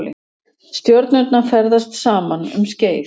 stjörnurnar ferðast saman um skeið